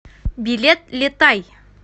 билет летай